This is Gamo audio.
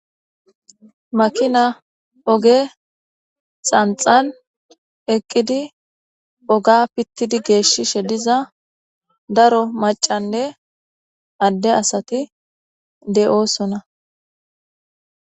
Makina oge xanxan eqidi oga pitidi beshishe diza daro macane adde asati de'osona